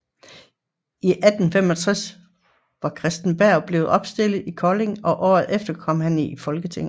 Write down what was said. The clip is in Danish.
I 1865 var Christen Berg blevet opstillet i Kolding og året efter kom han i Folketinget